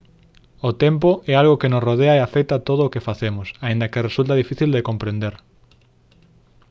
o tempo é algo que nos rodea e afecta todo o que facemos aínda que resulta difícil de comprender